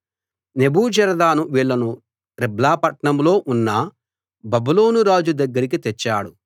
నెబూజరదాను వీళ్ళను రిబ్లా పట్టణంలో ఉన్న బబులోను రాజు దగ్గరికి తెచ్చాడు